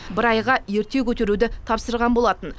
бір айға ерте көтеруді тапсырған болатын